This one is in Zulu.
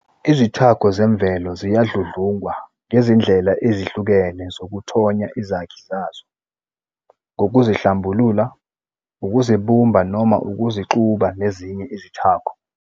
Izithako zemvelo ziyadludlungwa ngezindlela ezihlukene zokuthonya izakhi zazo, ngokuzihlambulula, ukuzibumba noma ngokuzixuba nezinye Izithako.